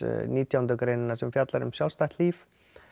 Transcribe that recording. nítjánda greinina sem fjallar um sjálfstætt líf